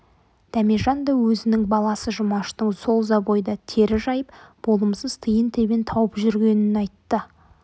дәмежан да өзінің баласы жұмаштың сол забойда тері жайып болымсыз тиын-тебен тауып жүргенін айтты